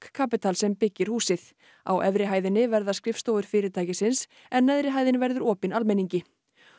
kapital sem byggir húsið á efri hæðinni verða skrifstofur fyrirtækisins en neðri hæðin verður opin almenningi